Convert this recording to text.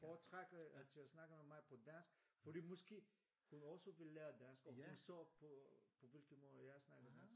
Foretrækker at jeg snakker med mig på dansk fordi måske hun også vil lære dansk og hun så på hvilke måder jeg snakker dansk